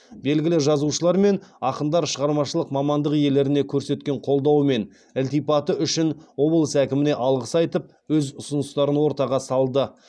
белгілі жазушылар мен ақындар шығармашылық мамандық иелеріне көрсеткен қолдауы мен ілтипаты үшін облыс әкіміне алғыс айтып өз ұсыныстарын ортаға салды